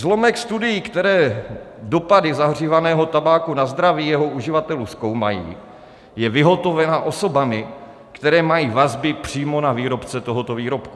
Zlomek studií, které dopady zahřívaného tabáku na zdraví jeho uživatelů zkoumají, je vyhotoven osobami, které mají vazby přímo na výrobce tohoto výrobku.